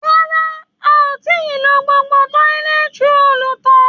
Rárá, a ò tí i lo gbogbo tọ́lẹt roòlù tán